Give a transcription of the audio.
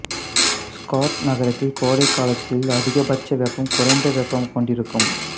scared நகரத்தில் கோடைக்காலத்தில் அதிக பட்ச வெப்பம் குறைந்த வெப்பம் கொண்டிருக்கும்